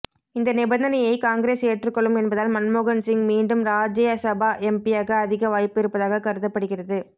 இந்த நிபந்தனையை காங்கிரஸ் ஏற்றுக்கொள்ளும் என்பதால் மன்மோகன்சிங் மீண்டும் ராஜய்சபா எம்பியாக அதிக வாய்ப்பு இருப்பதாக கருதப்படுகிறது